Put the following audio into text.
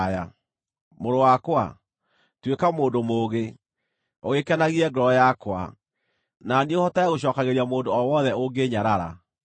Mũrũ wakwa, tuĩka mũndũ mũũgĩ, ũgĩkenagie ngoro yakwa; na niĩ hotage gũcookagĩria mũndũ o wothe ũngĩĩnyarara.